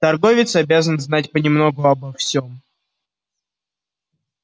торговец обязан знать понемногу обо всём